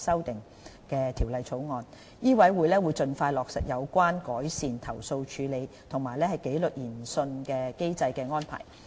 香港醫務委員會會盡快落實有關改善投訴處理及紀律研訊機制的安排。